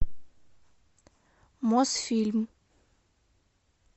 мосфильм